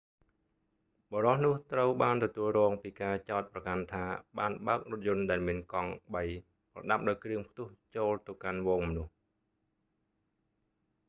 បុរសនោះត្រូវបានទទួលរងពីការចោទប្រកាន់ថាបានបើករថយន្តដែលមានកង់ បី ប្រដាប់ដោយគ្រឿងផ្ទុះចូលទៅកាន់ហ្វូងមនុស្ស